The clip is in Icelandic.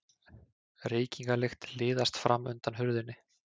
Reykingalykt liðaðist fram undan hurðinni.